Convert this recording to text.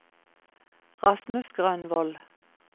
Rasmus Grønvold